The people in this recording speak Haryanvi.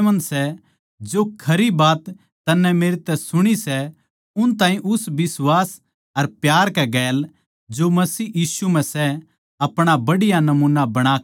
जो खरी बात तन्नै मेरै तै सुणी सै उन ताहीं उस बिश्वास अर प्यार कै गेल जो मसीह यीशु म्ह सै अपणा बढ़िया नमूना बणाकै राख